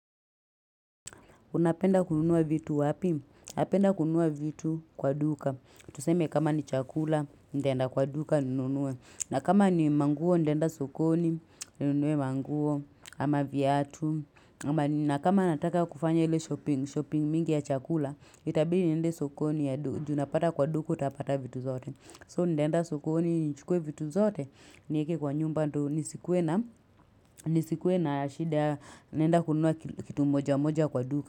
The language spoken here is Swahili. Unapenda kununua vitu wapi? Napenda kununua vitu kwa duka. Tuseme kama ni chakula, nitaenda kwa duka, ninunue. Na kama ni manguo, nitaenda sokoni, ninunue manguo, ama viatu. Na kama nataka kufanya ili shopping mingi ya chakula, itabidi niende sokoni, ju unapata kwa duka, hutapata vitu zote. So, nitaenda sokoni, nichukue vitu zote, nieke kwa nyumba, ndo nisikuwe na shida, naenda kununua kitu moja moja kwa duka.